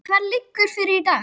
Hvað liggur fyrir í dag?